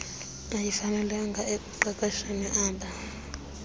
ayifanelekanga ekuqeqesheni ab